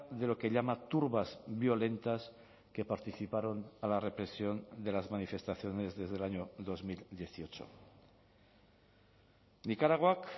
de lo que llama turbas violentas que participaron a la represión de las manifestaciones desde el año dos mil dieciocho nikaraguak